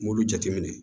N b'olu jateminɛ